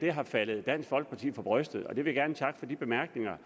er faldet dansk folkeparti for brystet og jeg vil gerne takke for de bemærkninger